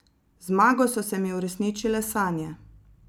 Z zmago so se mi uresničile sanje.